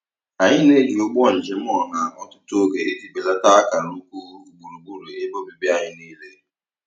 Anyị na-eji ụgbọ njem ọha ọtụtụ oge iji belata akara ukwu gburugburu ebe obibi anyị niile.